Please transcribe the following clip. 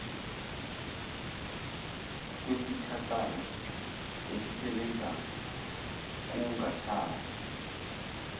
kwesithako esisebenzayo kungathatha